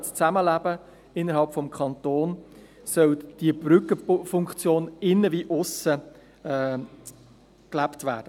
Diese Brückenfunktion des Kantons soll sowohl nach innen als auch nach aussen gelebt werden.